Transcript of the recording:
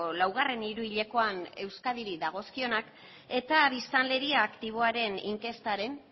laugarren hiruhilekoan euskadiri dagozkionak eta biztanleria aktiboaren inkestaren